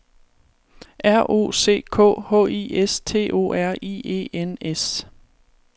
R O C K H I S T O R I E N S